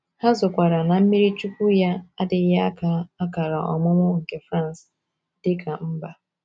Ha zọkwaara na mmiriichuwku ya adịghị aka akara ọmụmụ nke France dị ka mba.